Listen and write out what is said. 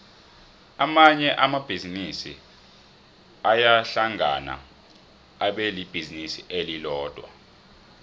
amanye amabhizinisi ayahlangana abelibhizinisi elilodwa